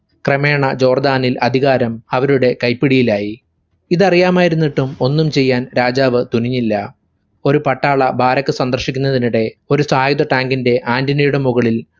ക്രമേണ ജോർദാനിൽ അധികാരം അവരുടെ കൈപ്പിടിയിലായി. ഇതറിയാമായിരുന്നിട്ടും ഒന്നും ചെയ്യാൻ രാജാവ് തുനിഞ്ഞില്ല. ഒരു പട്ടാള ബാരക് സന്ദർശിക്കുന്നതിനിടെ ഒരു സായുടെ ടാങ്കിന്റെ antenna യുടെ മുകളിൽ